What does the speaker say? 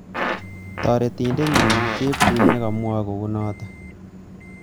Taretindet nyi chepkurui nekamwae kounoto